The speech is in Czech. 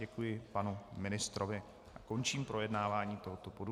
Děkuji panu ministrovi a končím projednávání tohoto bodu.